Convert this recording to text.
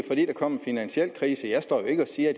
kom en finansiel krise jeg står jo ikke og siger